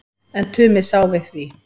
En Tumi sá við því.